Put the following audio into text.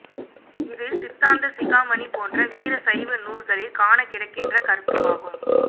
இது சித்தாந்த சிகாமணி போன்ற வீர சைவ நூற்களில் காணக் கிடக்கின்ற கருத்துமாகும்